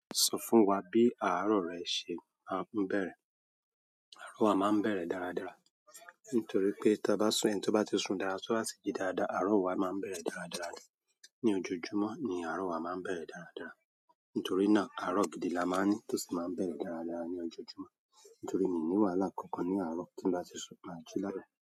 Sọ fún wa bí àárọ̀ rẹ ṣe máa ń bẹ̀rẹ̀. Àárọ̀ wa máa ń bẹ̀rẹ̀ dáradára, nítorí pé tí ẹni bá ti sun dára, tó ha sì jí dáadáa, àárọ̀ wa máa bẹ̀rẹ̀ dáradára ni. Ni ojojumọ́ ni àárọ̀ wa máa ń bẹ̀rẹ̀ dáradàra. Nítorí náà, àárọ̀ gidi la máa ń ní tó sì máa ń bẹ̀rẹ̀ dáradára ní ojojúmọ́. Nítorí mi ò ní wàhálà kankan ní àárọ̀ tí bá ti sun, máa jí lára.